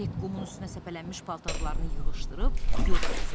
Hek qumun üstünə səpələnmiş paltarlarını yığışdırıb yola düzəldi.